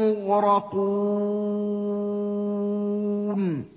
مُّغْرَقُونَ